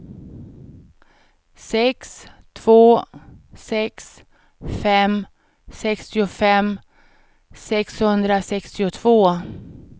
sex två sex fem sextiofem sexhundrasextiotvå